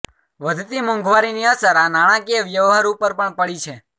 વધતી મોંઘવારીની અસર આ નાણાંકીય વ્યવહાર ઉપર પણ પડી છે